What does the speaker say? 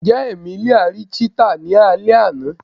Njẹ Emelia ri cheetah ni alẹ ana?